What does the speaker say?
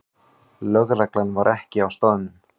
Lögreglan var ekki á staðnum